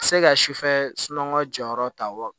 Se ka sufɛ sunɔgɔ jɔyɔrɔ ta wa